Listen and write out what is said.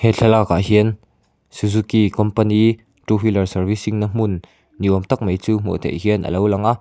he thlalâkah hian suzuki kawmpani ṭu wheeler sarvising na hmun ni âwm tak mai chu hmuh theih hian a lo lang a.